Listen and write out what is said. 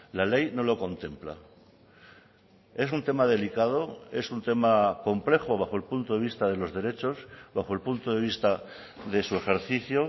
la ley no lo contempla es un tema delicado es un tema complejo bajo el punto de vista de los derechos bajo el punto de vista de su ejercicio